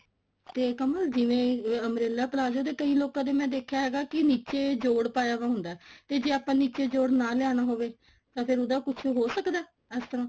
ਤੇ ਕਮਲ ਜਿਵੇਂ umbrella palazzo ਦੇ ਕਈ ਲੋਕਾਂ ਦਾ ਮੈਂ ਦੇਖਿਆ ਕਿ ਨਿੱਚੇ ਜੋੜ ਪਾਇਆ ਵਿਆ ਹੁੰਦਾ ਤੇ ਜੇ ਆਪਾਂ ਨਿੱਚੇ ਜੋੜ ਨਾ ਲਿਆਣਾ ਹੋਵੇ ਤਾਂ ਫੇਰ ਉਹਦਾ ਕੁੱਛ ਹੋ ਸਕਦਾ ਇਸ ਤਰ੍ਹਾਂ